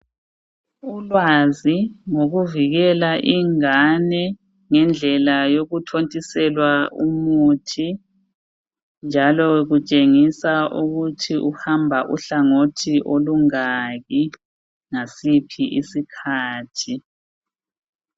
Ulwazi ngokuvikela ingane ngendlela yokuthontiselwa umuthi njalo kutshengisa ukuthi uhamba uhlangothi olungaki ngasiphi isikhathi